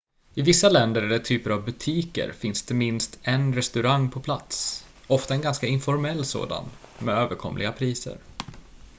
i vissa länder eller typer av butiker finns det minst en restaurang på plats ofta en ganska informell sådan med överkomliga priser